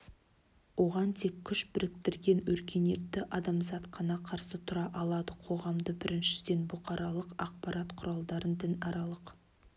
оған тек күш біріктірген өркениетті адамзат қана қарсы тұра алады қоғамды біріншіден бұқаралық ақпарат құралдарын дінаралық